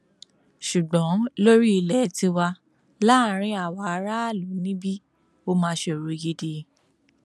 ṣùgbọn lórí ilẹ tiwa láàrin àwa aráàlú níbí ó máa ṣòro gidi